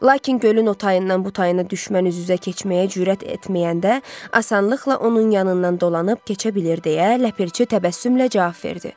Lakin gölün o tayından bu tayına düşmən üz-üzə keçməyə cürət etməyəndə, asanlıqla onun yanından dolanıb keçə bilir deyə ləpirçi təbəssümlə cavab verdi.